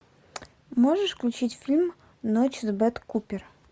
можешь включить фильм ночь с бет купер